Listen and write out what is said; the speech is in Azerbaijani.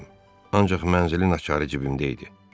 Ancaq mənzilin açarı cibimdə idi.